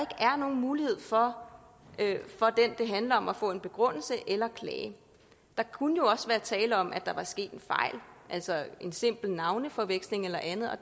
er nogen mulighed for for den det handler om at få en begrundelse eller klage der kunne jo også være tale om at der var sket en fejl altså en simpel navneforveksling eller andet og